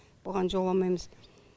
бұған жоламаймыз